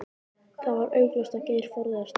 Það var augljóst að Geir forðaðist hann.